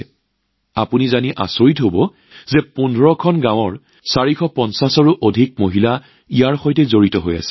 আপোনালোকে জানি আচৰিত হব যে ১৫ খন গাঁৱৰ ৪৫০তকৈ অধিক মহিলা এইবোৰ বোৱাৰ কামত জড়িত হৈ আছে